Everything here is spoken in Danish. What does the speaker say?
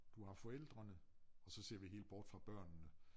Du har forældrene og så ser vi helt bort fra børnene